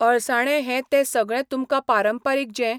अळसांणें हें तें सगळें तुमकां पारंपारीक जें